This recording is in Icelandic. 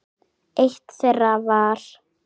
Eitt þeirra var